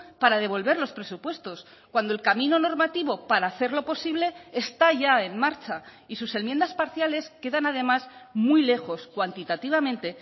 para devolver los presupuestos cuando el camino normativo para hacerlo posible está ya en marcha y sus enmiendas parciales quedan además muy lejos cuantitativamente